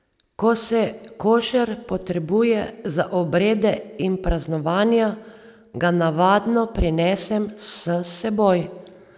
Ko se košer potrebuje za obrede in praznovanja, ga navadno prinesem s seboj.